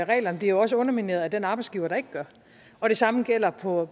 reglerne bliver jo også undermineret af den arbejdsgiver der ikke gør og det samme gælder på